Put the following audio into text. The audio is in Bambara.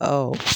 Ɔwɔ